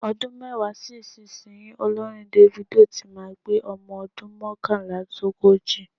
Ọdún mẹ́wàá sí ìsinyìí, olórin Davido tí máa pé ọmọ ọdún mọ́kànlélógójì.